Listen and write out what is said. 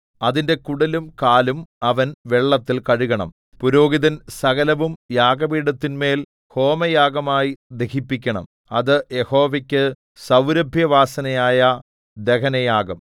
അതിന്റെ കുടലും കാലും അവൻ വെള്ളത്തിൽ കഴുകണം പുരോഹിതൻ സകലവും യാഗപീഠത്തിന്മേൽ ഹോമയാഗമായി ദഹിപ്പിക്കണം അത് യഹോവയ്ക്കു സൗരഭ്യവാസനയായ ദഹനയാഗം